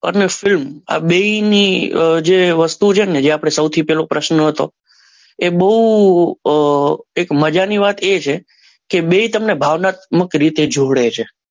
અને ફિલ્મ આ બેની જે વસ્તુ છે ને આપણે જે સૌથી પહેલું પ્રશ્ન હતો એ બહુ મજાની વાત એ છે કે બે તમને ભાવનાત્મક રીતે જોડે છે.